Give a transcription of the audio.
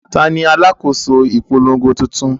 Ta ni alákòóso ìpolongo tuntun?